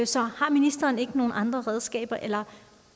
så har ministeren ikke nogen andre redskaber eller